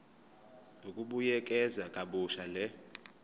ukubuyekeza kabusha le